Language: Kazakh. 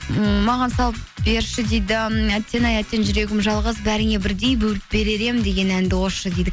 ммм маған салып берші дейді әттең ай әттең жүрегім жалғыз бәріңе бірдей бөліп берер едім деген әнді қосшы дейді